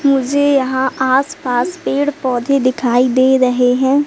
मुझे यहां आस पास पेड़ पौधे दिखाई दे रहे हैं।